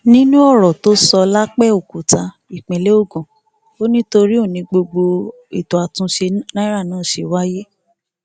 nínú ọrọ tó sọ lápẹọkúta ìpínlẹ ogun ò ní torí òun ni gbogbo ètò àtúnṣe náírà náà ṣe wáyé